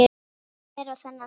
Hver á þennan staf?